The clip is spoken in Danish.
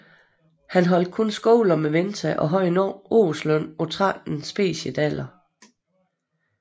Han holdt kun skole om vinteren og havde en årsløn på 13 speciedaler